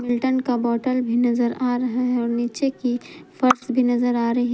Milton का bottle भी नजर आ रहा है और नीचे की फर्श भी नजर आ रही--